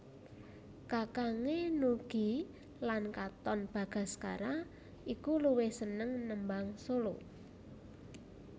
Kakangné Nugie lan Katon Bagaskara iki luwih seneng nembang solo